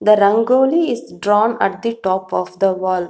the rangoli is drawn at the top of the wall.